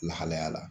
Lahalaya la